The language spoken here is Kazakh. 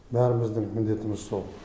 бәріміздің міндетіміз сол